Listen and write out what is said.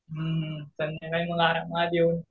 हं हं संध्याकाळी मग आरामात येऊन